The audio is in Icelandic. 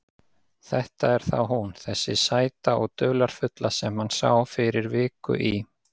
Þetta er þá hún, þessi sæta og dularfulla sem hann sá fyrir viku í